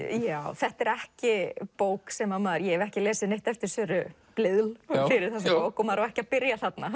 þetta er ekki bók sem að maður ég hef ekki lesið neitt eftir Söru Blædel fyrir þessa bók og maður á ekki að byrja þarna